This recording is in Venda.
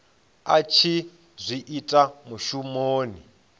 a tshi zwi ita mushumoni